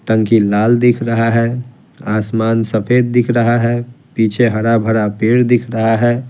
टंकी लाल दिख रहा है आसमान सफेद दिख रहा है पीछे हरा-भरा पेड़ दिख रहा है।